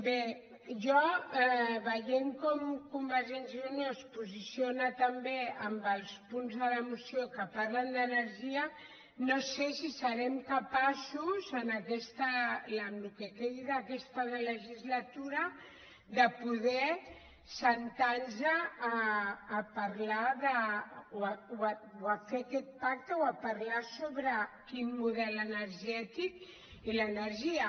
bé jo veient com convergèn·cia i unió es posiciona també en els punts de la moció que parlen d’energia no sé si serem capaços en el que quedi d’aquesta legislatura de poder asseure’ns a fer aquest pacte o a parlar sobre quin model energètic i l’energia